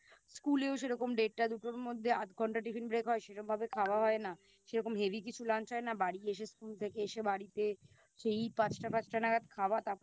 School এও সেরকম সেটা দুটোর মধ্যে আধ ঘন্টা Tiffin break হয় সেরকম ভাবে খাওয়া হয় না সেরকম Heavy কিছু Lunch হয় না বাড়ি এসে School থেকে এসে বাড়িতে সেই পাঁচটা পাঁচটা নাগাদ খাওয়া তারপরে